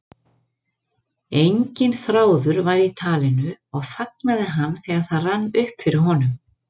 Enginn þráður var í talinu og þagnaði hann þegar það rann upp fyrir honum.